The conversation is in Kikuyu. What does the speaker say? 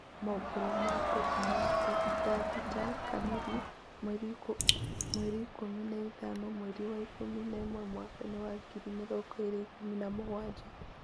Moboro ma Global Newsbeat thaa thita kamiri mweri ikũmi na ithano mweeri wa ikumi na imwe mwakaini wa ngiri mirongo ĩĩrĩ na ikũmi na mũgwanja.